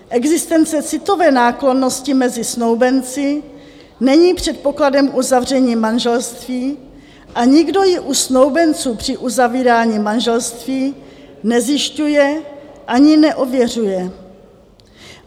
Existence citové náklonnosti mezi snoubenci není předpokladem uzavření manželství a nikdo ji u snoubenců při uzavírání manželství nezjišťuje ani neověřuje.